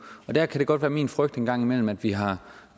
der kan det godt være min frygt en gang imellem at vi har